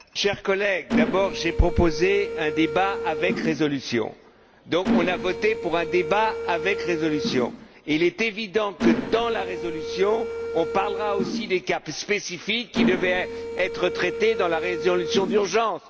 Monsieur le Président, chers collègues, d'abord, j'ai proposé un débat avec résolution. Donc, on a voté pour un débat avec résolution. Il est évident que, dans la résolution, on parlera aussi des cas spécifiques, qui devaient être traités dans la résolution d'urgence.